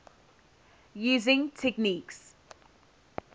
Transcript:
using techniques